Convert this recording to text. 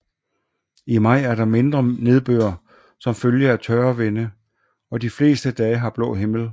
I maj er der mindre nedbør som følge af tørre vinde og de fleste dage har blå himmel